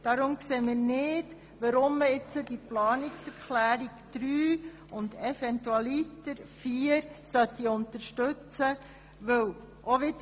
Deshalb sehen wir nicht, weshalb man die Planungserklärungen 3 und eventualiter 4 unterstützen sollte.